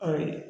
Ayi